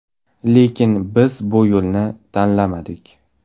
Lekin biz bu yo‘lni tanlamadik.